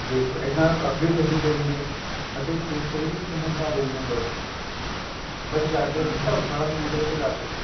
ਦੇਖੋ ਐਨਾ ਅੱਗੇ ਤੋ ਅੱਗੇ ਜਾਈ ਗਏ ਅੱਗੇ ਫ਼ੇਰ ਚਲੇ ਗਏ ਚਮੁੰਡਾ ਦੇਵੀ ਮੰਦਿਰ ਬੱਸ ਜਾਕੇ ਧਰਮਸ਼ਾਲਾ ਦੇ ਨੇੜੇ ਤੇੜੇ ਲੱਗ ਗਏ